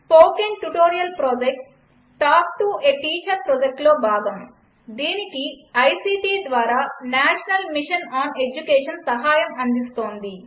spoken tutorial project talk to a teacher ప్రాజక్ట్లో భాగం దీనికి ఐసీటీ ద్వారా నేషనల్ మిషన్ ఆన్ ఎడ్యుకేషన్ సహాయం అందిస్తోంది